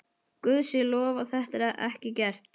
Guði sé lof að það var ekki gert.